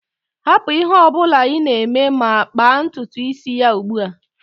Hapụ ihe ọ bụla ị na-eme ma kpaa ntutu isi ya ugbu a!